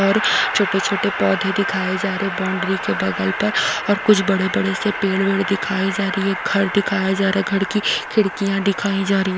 और छोटे छोटे पौधे दिखाए जा रहे है बाउंड्री के बगल पर और कुछ बड़े-बड़े से पेड़ वेड़ दिखाई जा रही है घर दिखाया जा रहा है घर की खिड़कियां दिखाई जा रही --